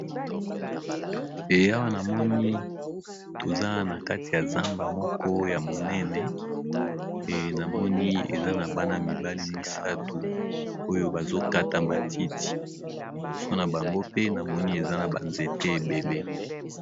Awa na moni toza na kati ya zamba moko ya monene e na moni eza na bana mibale misato oyo bazo kata matiti liboso na bango pe na moni eza na ba nzete ebele .